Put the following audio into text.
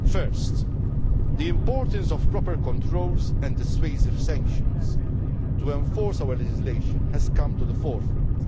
Firstly, the importance of proper controls and dissuasive sanctions to enforce our legislation has come to the forefront.